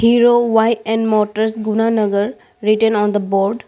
Hero Y_N motors gunanagar written on the board.